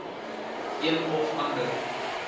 een of ander